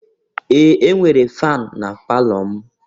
Ee! E nwere fanụ na palọ m.